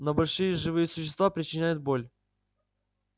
но большие живые существа причиняют боль